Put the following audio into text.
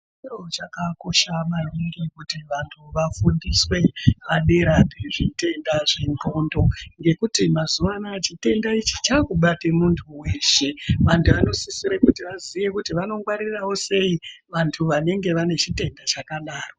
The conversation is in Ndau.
Chiro chakakosha maningi kuti vantu vafundiswe padera ne zvitenda zve ndxondo ngekuti mazuva anaya chitenda ichi chaku bate muntu weshe vantu vano sisire kuti vaziye kuti vano ngwarirawo sei vantu vanenge vane chitenda chakadaro.